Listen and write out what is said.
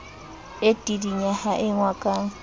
e tidinya ha engwa ka